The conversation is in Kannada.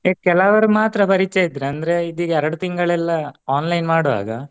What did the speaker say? ಈಗ ಕೆಲವರು ಮಾತ್ರ ಪರಿಚಯ ಇದ್ರು ಅಂದ್ರೆ ಇದು ಈಗ ಎರಡು ತಿಂಗಳೆಲ್ಲ online ಮಾಡುವಾಗ